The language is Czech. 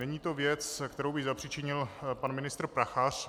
Není to věc, kterou by zapřičinil pan ministr Prachař.